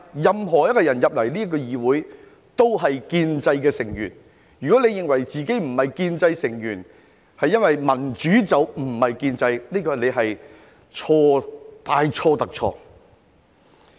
任何一位議員進入這個議會，也是建制的成員，如果有人認為自己不是建制成員，因為民主不是建制，這是大錯特錯的。